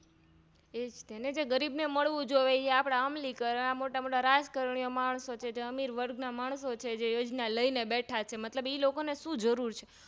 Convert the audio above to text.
એજ્તેને જે ગરીબને મળવું જોઈએ એ આપણા અમલીકરણ મોટા મોટા રાજકારણીઓં માણસો છેએ જે અમીરવર્ગ ના માણસો છેએ જે યોજના લઈને બેઠા છે એ લોકોને શું જરૂર છે